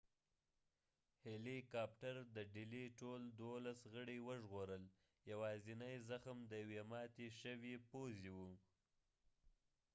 هیلی کاپټر د ډلې ټول دولس غړی وژغورل یواځنی زخم د یوې ماتی شوي پوزی و